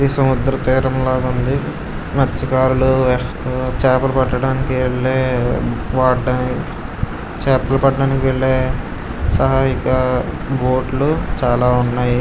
ఇది సముద్ర తీరం లాగా ఉంది. . మత్స్యకారులు చాపలు పట్టడానికి వెల్లే చేపలు పట్టడానికి వెళ్లే సహాయక బోట్లు చాలా ఉన్నాయి.